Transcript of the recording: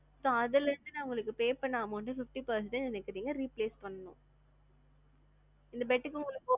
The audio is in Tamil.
so அதுல இருந்து நான் pay பண்ண amount அ fifty percentage எனக்கு நீங்க refund பண்ணனும். இந்த bed க்கு